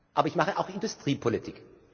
Aber ich mache auch Industriepolitik.